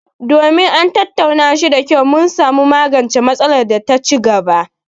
Domin an tattauna shi da kyau, mun samu magancen matsalar da ta ci gaba;